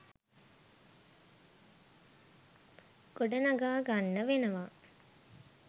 ගොඩනගා ගන්න වෙනවා